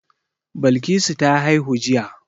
Balkisu ta haihu jiya.